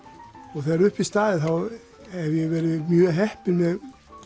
og þegar upp er staðið þá hef ég verið mjög heppinn með